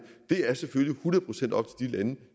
det er selvfølgelig hundrede procent op